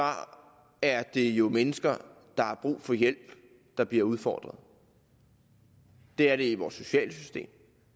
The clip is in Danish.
er det jo mennesker der har brug for hjælp der bliver udfordret det er det i vores sociale system